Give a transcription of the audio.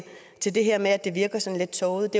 til det her med at det virker sådan lidt tåget